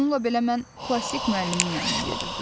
Bununla belə mən klassik müəllimin yanına gedirdim.